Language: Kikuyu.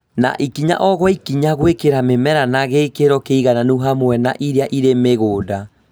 na ikinya o gwa ikinya gwĩkĩra mĩmera na gĩkĩro kĩigananu hamwe na iria irĩ mĩgũnda